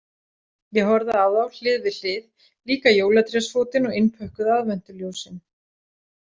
Ég horfði á þá hlið við hlið, líka jólatrésfótinn og innpökkuð aðventuljósin.